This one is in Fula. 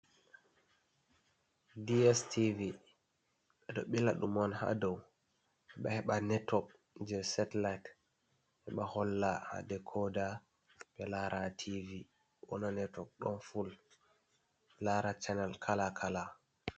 Dstv ɓeɗo ɓila ɗum on ha dow heɓa network je satellite, heɓa holla ha dekoda be lara tv wona network ɗon full lara channel kala kala.